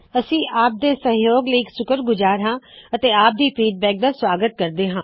ਅਸੀ ਆਪ ਦੇ ਸਹਜੋਗ ਲਈ ਸ਼ੁਕਰਗੁਜ਼ਾਰ ਹਾ ਅਤੇ ਆਪ ਦੀ ਪ੍ਰਤਿਕ੍ਰਿਆ ਦਾ ਸੁਆਗਤ ਕਰਦੇ ਹਾ